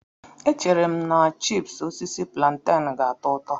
Echere m na chipúsí osisi púlantenú ga-atọ ụtọ